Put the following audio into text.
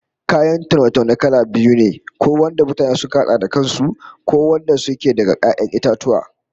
Kayan taune-taune kala biyu ne, ko wanda mutane suka hada da kan su, ko wadanda suke daga 'ya'yan itatuwa